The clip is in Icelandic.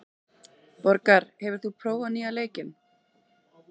Borgar, hefur þú prófað nýja leikinn?